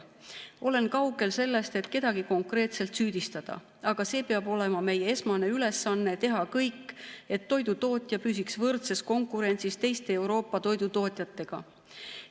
Olen kaugel sellest, et kedagi konkreetselt süüdistada, aga see peab olema meie esmane ülesanne, teha kõik, et toidutootja püsiks võrdses konkurentsis teiste Euroopa toidutootjatega.